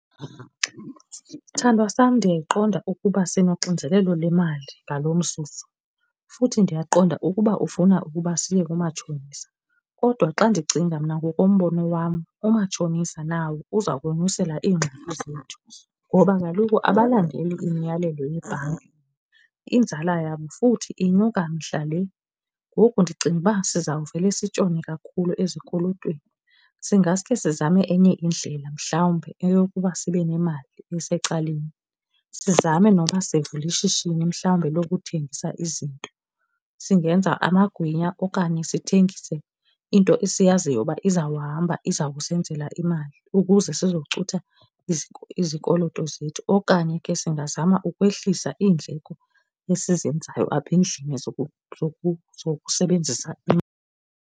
Sithandwa sam ndiyayiqonda ukuba sinonxinzelelo lemali ngalo mzuzu futhi ndiyaqonda ukuba ufuna ukuba siye kumatshonisa. Kodwa xa ndicinga mna ngokombono wam umatshonisa nawo uza konyusela iingxaki zethu, ngoba kaloku abalandeli imiyalelo yebhanki. Inzala yabo futhi inyuka mihla le. Ngoku ndicinga uba siza kuvele sitshone kakhulu ezikolotweni. Singaske sizame enye indlela mhlawumbi eyokuba sibe nemali esecaleni. Sizame noba sivule ishishini mhlawumbi lokuthengisa izinto. Singenza amagwinya okanye sithengise into esiyaziyo uba izawuhamba iza kusenzela imali ukuze sicutha izikoloto zethu okanye ke singazama ukwehlisa iindleko esizenzayo apha endlini zokusebenzisa .